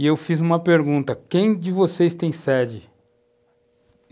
E eu fiz uma pergunta, quem de vocês tem sede?